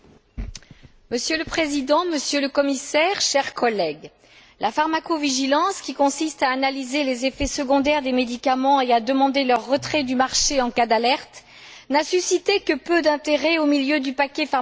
Monsieur le Président, Monsieur le Commissaire, chers collègues, la pharmacovigilance, qui consiste à analyser les effets secondaires des médicaments et à demander leur retrait du marché en cas d'alerte, n'a suscité que peu d'intérêt au milieu du paquet pharmaceutique.